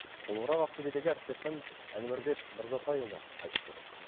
толығырақ ақтөбедегі әріптесім әнуарбек мырзатайұлы айтып береді